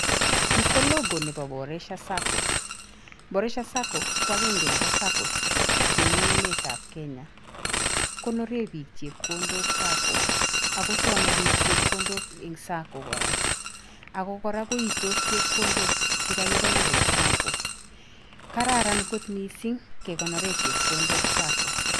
Ni ko logo nebo Boresha Sacco, Boreshas Sacco ko akenge nebo Sacco chemi emetab Kenya, konore biik chepkondok Sacco ako some biik chepkondok eng Sacco kora, ako kora koitos chepkondok che kakikonor eng Sacco, kararan kot mising kekonore chepkondok Sacco.